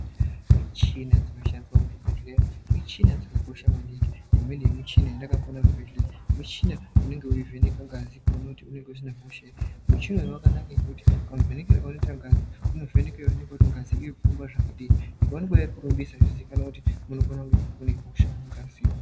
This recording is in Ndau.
Michina dzinoshandiswa muzvibhedhlera michina dzakakosha maningi. Imweni yemichina yandakaona muchibhedhlera michina unenge weivheneke ngazi kuona kuti aina hosha ere. Muchina yakanaka maningi ngekuti mavhenekerwe anoitwa ngazi, inovheneke kuona kuti ngazi inohamba zvakadini. Ikaonekwa yakawandisa zvozikanwa kuti unofana kunge une hosha yakati.